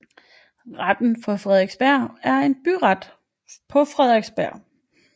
Retten på Frederiksberg er en byret på Frederiksberg